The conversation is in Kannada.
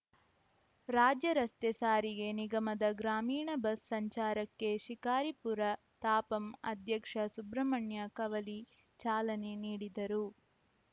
ರಾಜ್ಯ ರಸ್ತೆ ಸಾರಿಗೆ ನಿಗಮದ ಗ್ರಾಮೀಣ ಬಸ್‌ ಸಂಚಾರಕ್ಕೆ ಶಿಕಾರಿಪುರ ತಾಪಂ ಅಧ್ಯಕ್ಷ ಸುಬ್ರಹ್ಮಣ್ಯ ಕವಲಿ ಚಾಲನೆ ನೀಡಿದರು